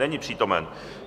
Není přítomen.